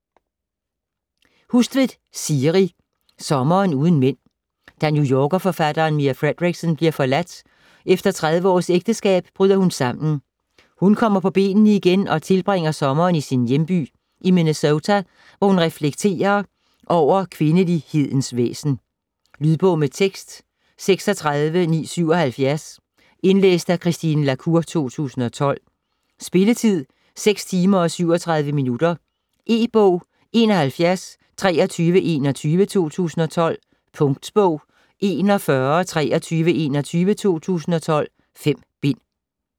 Hustvedt, Siri: Sommeren uden mænd Da New Yorker-forfatteren Mia Fredericksen bliver forladt efter 30 års ægteskab, bryder hun sammen. Hun kommer på benene igen og tilbringer sommeren i sin hjemby i Minnesota, hvor hun reflekterer over kvindelighedens væsen. Lydbog med tekst 36977 Indlæst af Christine la Cour, 2012. Spilletid: 6 timer, 37 minutter. E-bog 712321 2012. Punktbog 412321 2012. 5 bind.